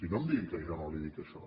no em digui que jo no li dic això